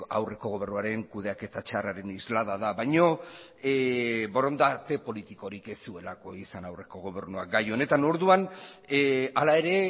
aurreko gobernuaren kudeaketa txarraren islada da baino borondate politikorik ez zuelako izan aurreko gobernuak gai honetan orduan hala ere